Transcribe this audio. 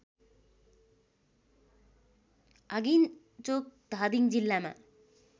आगिन्चोक धादिङ जिल्लामा